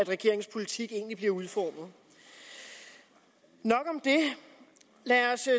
regeringens politik bliver udformet nok om det lad os